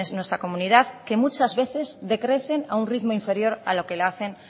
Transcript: en nuestra comunidad que muchas veces decrecen a un ritmo inferior a lo que lo hacen